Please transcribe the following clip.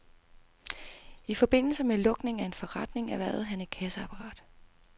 I forbindelse med lukning af en forretning erhvervede han et kasseapparat.